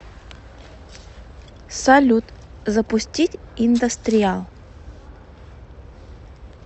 салют запустить индастриал